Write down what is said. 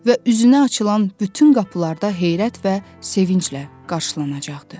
Və üzünə açılan bütün qapılarda heyrət və sevinclə qarşılanacaqdı.